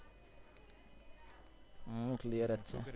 હમ clear જ છે.